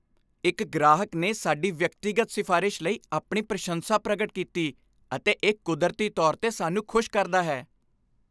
ਇੱਕ ਗ੍ਰਾਹਕ ਨੇ ਸਾਡੀ ਵਿਅਕਤੀਗਤ ਸਿਫ਼ਾਰਿਸ਼ ਲਈ ਆਪਣੀ ਪ੍ਰਸ਼ੰਸਾ ਪ੍ਰਗਟ ਕੀਤੀ ਅਤੇ ਇਹ ਕੁਦਰਤੀ ਤੌਰ 'ਤੇ ਸਾਨੂੰ ਖੁਸ਼ ਕਰਦਾ ਹੈ।